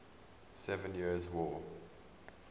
seven years war